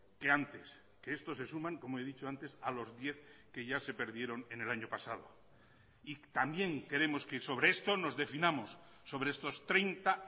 que antes que estos se suman como he dicho antes a los diez que ya se perdieron en el año pasado y también queremos que sobre esto nos definamos sobre estos treinta